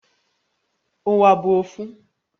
Uwa bu ofu